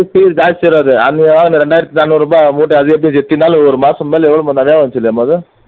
ஜாஸ்தி வராது அது இரண்டாயிரத்தி நானூறு ரூபாய் மூட்டை அது எப்படின்னாலும் ஒரு மாசம் மேல எப்படி நிறைய வந்துச்சு இல்லை